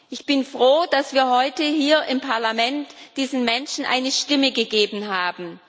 Ich bin froh, dass wir heute hier im Parlament diesen Menschen eine Stimme gegeben haben.